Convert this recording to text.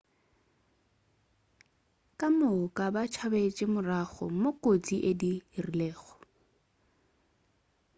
ka moka ba tšabetše morago moo kotsi e diregilego